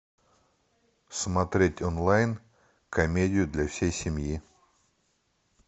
смотреть онлайн комедию для всей семьи